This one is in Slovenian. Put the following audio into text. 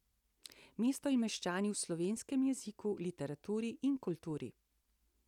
Mesto in meščani v slovenskem jeziku, literaturi in kulturi.